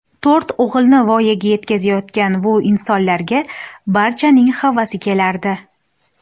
To‘rt o‘g‘ilni voyaga yetkazayotgan bu insonlarga barchaning havasi kelardi.